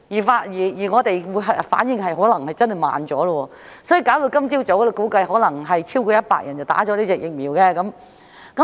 香港的反應可能真的是稍慢了，以致今早估計或有超過100人接種了這款疫苗。